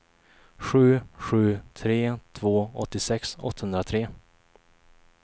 sju sju tre två åttiosex åttahundratre